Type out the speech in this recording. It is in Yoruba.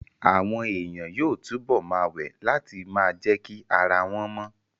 Àwọn èèyàn yóò túbọ̀ ma wẹ̀ láti ma jẹ́kí ara wọ́n mọ